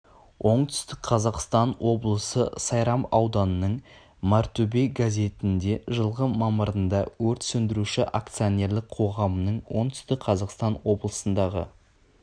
оңтүстік қазақстан облысы сайрам ауданының мартөбе газетінде жылғы мамырында өрт сөндіруші акционерлік қоғамының оңтүстік қазақстан облысындағы